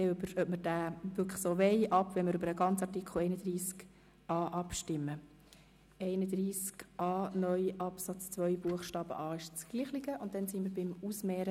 Wir werden nachher, wenn wir über den ganzen Artikel 31a befinden, darüber abstimmen, ob wir diesen Artikel so wollen.